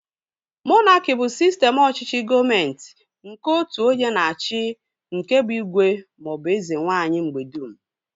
Monaki bụ sistem ọchịchị gọọmenti nke otu onye na-achị nke bụ igwe maọbụ eze nwaanyị mgbedum